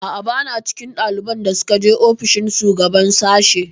A'a, ba na cikin ɗaliban da suka je ofishin shugaban sashi.